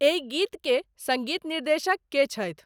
एहि गीत के संगीत निर्देशक के छियां?